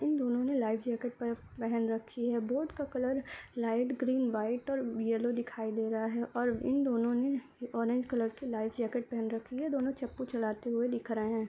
इन दोनों ने life jacket पहन रखी है। बोट का कलर लाइट ग्रीन व्हाइट और येलो दिखाई दे रहा है और इन लोगों ने ऑरेंज कलर की लाइफ जैकेट पहन रखी है। दोनों चप्पू चलाते हुए दिख रहे हैं।